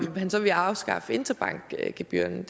han så ville afskaffe interbankgebyrerne